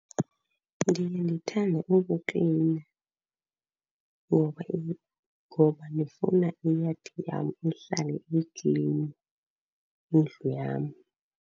Ndiye ndithande ukuklina ngoba , ngoba ndifuna iyadi yam ihlale iklini, indlu yam.